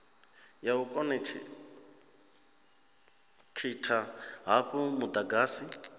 ya u khonekhitha hafhu mudagasi